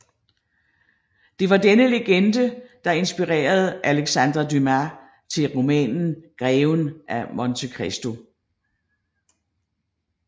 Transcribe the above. Det var denne legende der inspirerede Alexandre Dumas til romanen Greven af Monte Cristo